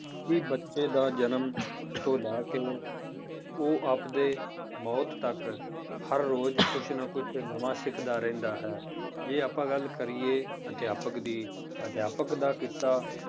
ਕਿ ਬੱਚੇ ਦਾ ਜਨਮ ਤੋਂ ਲੈ ਕੇ ਉਹ ਆਪਦੇ ਮੌਤ ਤੱਕ ਹਰ ਰੋਜ਼ ਕੁਛ ਨਾ ਕੁਛ ਤੇ ਨਵਾਂ ਸਿੱਖਦਾ ਰਹਿੰਦਾ ਹੈ, ਜੇ ਆਪਾਂ ਗੱਲ ਕਰੀਏ ਅਧਿਆਪਕ ਦੀ ਅਧਿਆਪਕ ਦਾ ਕਿੱਤਾ